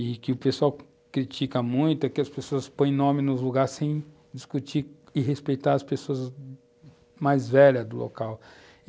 e que o pessoal critica muito, é que as pessoas põem nome nos lugares sem discutir e respeitar as pessoas mais velhas do local.